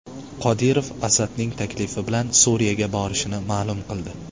Qodirov Asadning taklifi bilan Suriyaga borishini ma’lum qildi.